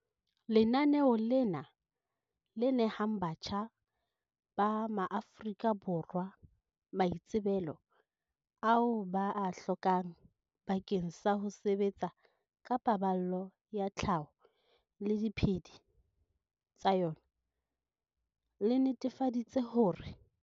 Lenaneo lena, le nehang batjha ba maAforika Borwa maitsebelo ao ba a hlokang bakeng sa ho sebetsa ka paballo ya tlhaho le diphedi tsa yona, le netefaditse hore.